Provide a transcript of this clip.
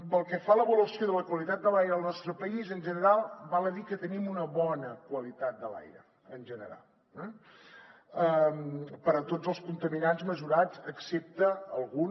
pel que fa a l’avaluació de la qualitat de l’aire al nostre país en general val a dir que tenim una bona qualitat de l’aire en general eh per tots els contaminants mesurats excepte alguns